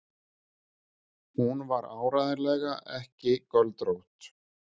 Hún var áreiðanlega ekki göldrótt.